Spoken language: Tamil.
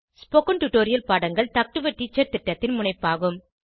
ஸ்போகன் டுடோரியல் பாடங்கள் டாக் டு எ டீச்சர் திட்டத்தின் முனைப்பாகும்